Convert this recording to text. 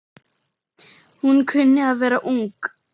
Hún kunni að vera ung.